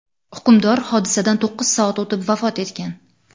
Hukmdor hodisadan to‘qqiz soat o‘tib, vafot etgan.